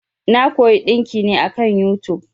Na koyi ɗinki ne akan yutub.